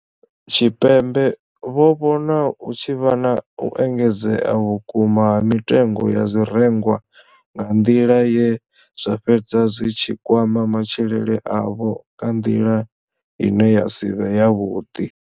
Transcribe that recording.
Tshipembe vho vhona hu tshi vha na u engedzea vhukuma ha mitengo ya zwirengwa nga nḓila ye zwa fhedza zwi tshi kwama matshilele avho nga nḓila ine ya si vhe yavhuḓi.